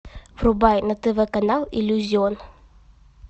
врубай на тв канал иллюзион